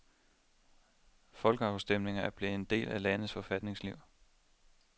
Folkeafstemninger er blevet en del af landets forfatningsliv.